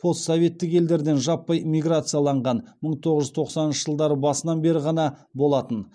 постсоветтік елдерден жаппай миграциялаған мыі тоғыз жүз тоқсаныншы жылдары басынан бері ғана болатын